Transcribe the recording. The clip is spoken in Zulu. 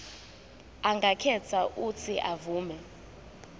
angakhetha uuthi avume